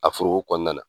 A foroko kɔnɔna na